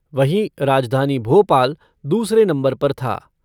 वहीं राजधानी भोपाल दूसरे नम्बर पर था।